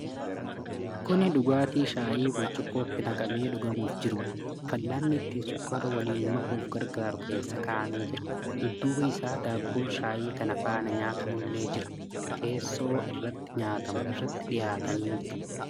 Kuni dhugaatii shaayii burcuqqootti naqamee dhugamuuf jirudha. Fal'aanni ittin sukkaara waliin makuuf gargaaru keessa kaa'amee jira. Dudduuba isaa daabboon shaayii kana faana nyaatamullee jira. Teessoo irratti nyaatamu irratti dhiyaatanii jiru.